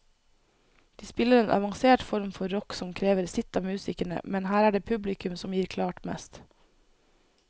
De spiller en avansert form for rock som krever sitt av musikerne, men her er det publikum som gir klart mest.